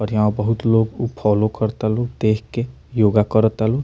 और यहाँ बहुत लोग उ फॉलो करातालो देख के योगा करातालो।